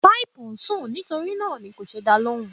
Pípé ń sùn, nítorí náà ni kò ṣe dá ọ lóhùn.